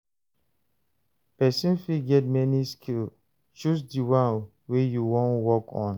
Persin fit get many skill, choose di one wey you won work on